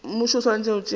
mmušo o swanetše go tšea